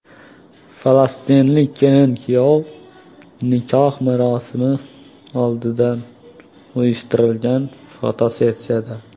Falastinlik kelin-kuyov nikoh marosimi oldidan uyushtirilgan fotosessiyada.